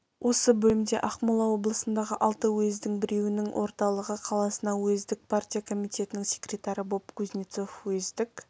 осы бөлімде ақмола облысындағы алты уездің біреуінің орталығы қаласына уездік партия комитетінің секретары боп кузнецов уездік